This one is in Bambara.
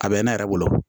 A bɛ ne yɛrɛ bolo